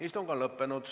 Istung on lõppenud.